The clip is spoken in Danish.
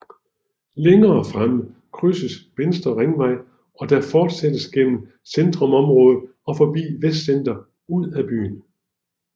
Længere fremme krydses Vestre Ringvej og der fortsættes gennem centerområdet og forbi Vestcenter ud af byen